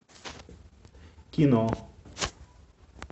кино